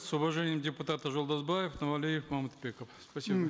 с уважением депутаты жолдасбаев нуралиев мамытбеков спасибо